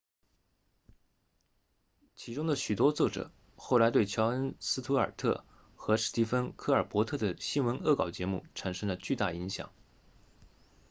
其中的许多作者后来对乔恩斯图尔特 jon stewart 和史蒂芬科尔伯特 stephen colbert 的新闻恶搞节目产生了巨大影响